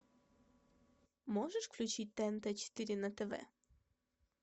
можешь включить тнт четыре на тв